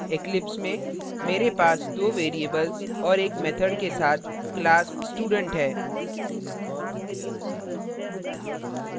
eclipse में मेरे पास दो variables और एक method के साथ class student है